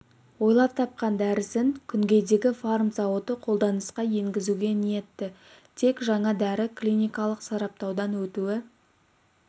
ойлап тапқан дәрісін күнгейдегі фарм зауыты қолданысқа енгізуге ниетті тек жаңа дәрі клиникалық сараптаудан өтуі